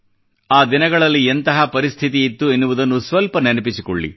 ಆ ದಿನಗಳಲ್ಲಿ ಎಂತಹ ಪರಿಸ್ಥಿತಿಯಿತ್ತು ಎನ್ನುವುದನ್ನು ಸ್ವಲ್ಪ ನೆನಪಿಸಿಕೊಳ್ಳಿ